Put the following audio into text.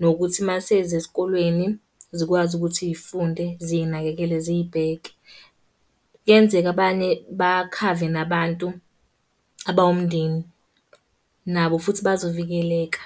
Nokuthi uma seziya esikolweni, zikwazi ukuthi iy'funde ziy'nakekele ziy'bheke. Kuyenzeka abanye bakhave nabantu abawumndeni, nabo futhi bazovikeleka.